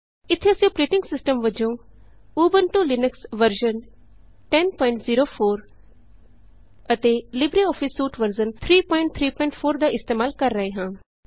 ਇਥੇ ਅਸੀਂ operating system ਵਜੋਂ ਉਬੰਤੂ ਲਿਨਕਸ ਵਰਜ਼ਨ 1004 ਅਤੇ ਲਿਬਰੇਆਫਿਸ ਸੂਟ ਵਰਜ਼ਨ 334 ਦਾ ਇਸਤੇਮਾਲ ਕਰ ਰਹੇ ਹਾਂ